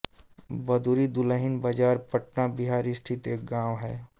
बदुरी दुल्हिनबाजार पटना बिहार स्थित एक गाँव है